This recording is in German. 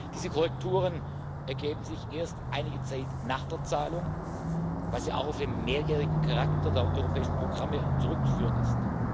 Diese Korrekturen ergeben sich erst einige Zeit nach der Zahlung, was ja auch auf den mehrjährigen Charakter der europäischen Programme zurückzuführen ist.